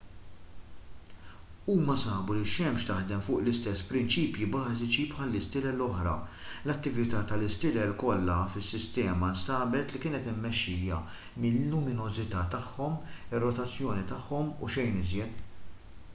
huma sabu li x-xemx taħdem fuq l-istess prinċipji bażiċi bħall-istilel l-oħra l-attività tal-istilel kollha fis-sistema nstabet li kienet immexxija mil-luminożità tagħhom ir-rotazzjoni tagħhom u xejn iżjed